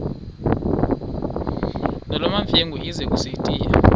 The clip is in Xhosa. nolwamamfengu ize kusitiya